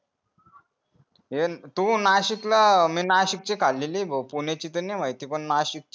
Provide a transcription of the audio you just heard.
तू नाशिक ला मी नाशिक ची खाल्लेली आहे भाऊ पुण्याची तर नाही माहिती पण नाशिकची